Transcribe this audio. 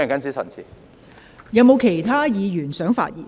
是否有其他議員想發言？